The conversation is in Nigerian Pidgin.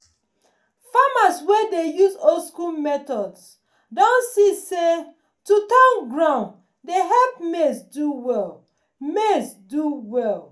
farmers wey dey use old school methods don see say to turn ground dey help maize do well. maize do well.